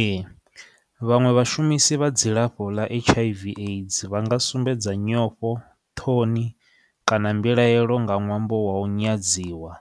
Ee vhaṅwe vhashumisi vha dzilafho ḽa H_I_V AIDS vha nga sumbedza nyofho, ṱhoni kana mbilaelo nga ṅwambo wa u nyadziwa